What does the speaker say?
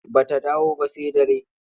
Ba ta dawo ba sai dare.